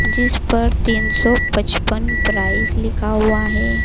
जिस पर तीन सौ पचपन प्राइस लिखा हुआ हैं।